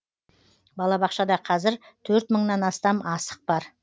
балабақшада қазір төрт мыңнан астам асық бар